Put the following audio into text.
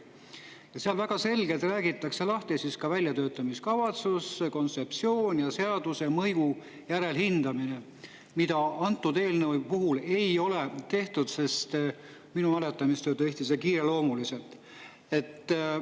Seal räägitakse väga selgelt lahti väljatöötamiskavatsus, kontseptsioon ja seaduse mõju järelhindamine, mida antud eelnõu puhul ei ole tehtud, sest minu mäletamist mööda tehti seda kiireloomuliselt.